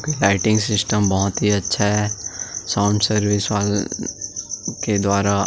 lighting system बहुत ही अच्छा है साउंड सर्विस वाले के द्वारा--